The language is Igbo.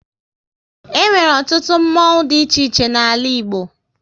E nwere ọtụtụ mmonwu dị iche iche n'ala Igbo